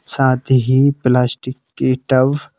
साथ ही प्लास्टिक के टब--